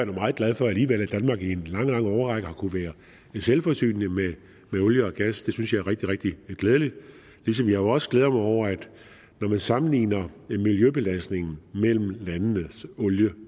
meget glad for alligevel at danmark i en lang lang årrække har kunnet være selvforsynende med olie og gas det synes jeg er rigtig rigtig glædeligt ligesom jeg også glæder mig over at når man sammenligner miljøbelastningen mellem landenes olie